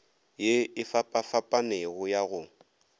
ye e fapafapanego ya go